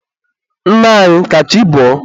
Nna anyị, ka chi bọọ.